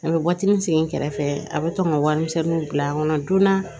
A bɛ waati min sigi n kɛrɛfɛ a bɛ tɔ ka warimisɛnninw bila an kɔnɔ don na